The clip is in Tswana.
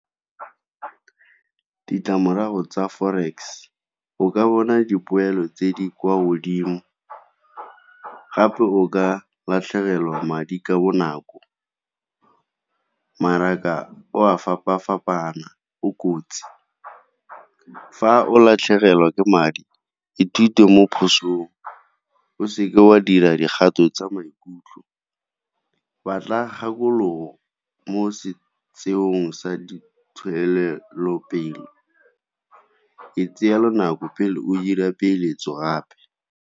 Ditlamorago tsa forex, o ka bona dipoelo tse di kwa godimo gape o ka latlhegelwa madi ka bonako. Mmaraka o a fapa-fapana, o kotsi. Fa o latlhegelwa ke madi ithute mo phosong, o seke wa dira dikgato tsa maikutlo, batla kgakologo mo sa di . Itseele nako pele o dira peeletso gape.